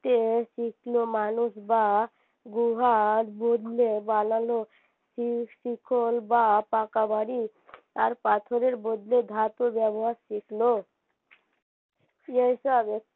তে শিখলো মানুষ বা গুহার বদলে বানালো শিকল বা পাকা বাড়ি আর পাথরের বদলে ধাতু ব্যবহার শিখলো এইসব